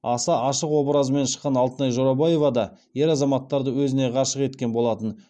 аса ашық образымен шыққан алтынай жорабаева да ер азаматтарды өзіне ғашық еткен болатын